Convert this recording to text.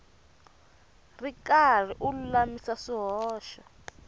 ri karhi u lulamisa swihoxo